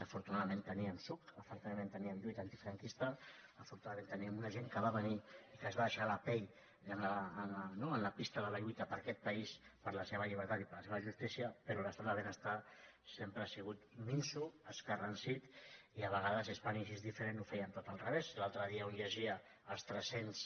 afortunadament teníem psuc afortunadament teníem lluita antifranquista afortunadament teníem una gent que va venir i que es va deixar la pell no en la pista de la lluita per aquest país per la seva llibertat i per la seva justícia però l’estat del benestar sempre ha sigut minso escarransit i a vegades spain is diferentl’altre dia un llegia els tres cents